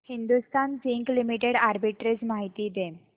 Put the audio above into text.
Hindustan zinc limited arbitrage माहिती दे